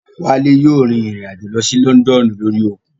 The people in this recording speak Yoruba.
Wálé yóò rìn rìn àjò lọ sí Lọ́ndọ̀nù lórí òkun